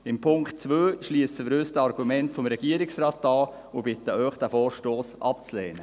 Bei Ziffer 2 schliessen wir uns den Argumenten des Regierungsrates an und bitten Sie, diesen Vorstoss abzulehnen.